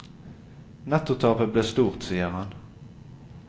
Nettotapet ble stort, sier han.